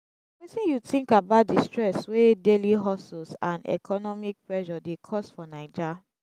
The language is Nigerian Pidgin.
wetin you think about di stress wey daily hustles and economic pressure dey cause for naija?